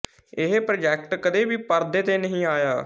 ਇਹ ਪ੍ਰਾਜੈਕਟ ਕਦੇ ਵੀ ਪਰਦੇ ਤੇ ਨਹੀਂ ਆਇਆ